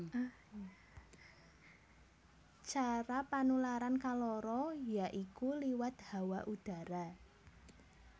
Cara panularan kaloro ya iku liwat hawa udhara